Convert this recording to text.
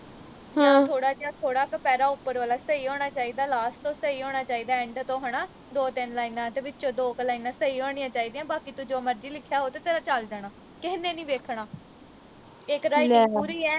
ਥੋੜਾ ਜਾ ਥੋੜਾ ਕਿ ਪੈਰਾ ਉਪਰ ਵਾਲਾ ਸਹੀ ਹੋਣਾ ਚਾਹੀਦਾ last ਤੋਂ ਸਹੀ ਹੋਣਾ ਚਾਹੀਦਾ end ਤੋਂ ਹਣਾ ਦੋ ਤਿੰਨ ਲਾਈਨਾਂ ਤੇ ਵਿਚੋਂ ਦੋ ਕੁ ਸਹੀ ਹੋਣੀਆਂ ਚਾਹੀਦੀਆਂ ਬਾਕੀ ਤੂੰ ਜੋ ਮਰਜੀ ਲਿਖਿਆ ਹੋਵੇ ਤੇ ਤੇਰਾ ਚਲ ਜਾਣਾ ਕਿਹੇ ਨੇ ਨੀ ਵੇਖਣਾ ਇਕ ਪੂਰੀ ਐ